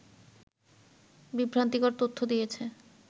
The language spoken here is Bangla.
বিভ্রান্তিকর তথ্য দিয়েছে